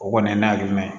O kɔni ye nan jumɛn ye